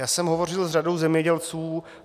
Já jsem hovořil s řadou zemědělců.